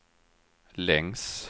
längs